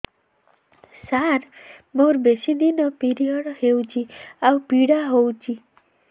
ସାର ମୋର ବେଶୀ ଦିନ ପିରୀଅଡ଼ସ ହଉଚି ଆଉ ପୀଡା ହଉଚି